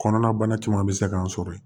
Kɔnɔna bana caman bɛ se k'an sɔrɔ yen